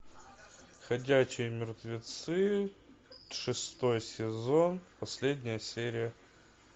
ходячие мертвецы шестой сезон последняя серия